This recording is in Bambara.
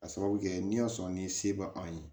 A sababu kɛ n'i y'a sɔrɔ ni se bɛ anw ye